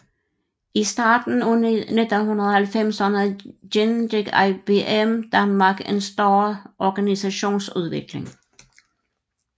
I starten af 1990erne gennemgik IBM Danmark en større organisationsudvikling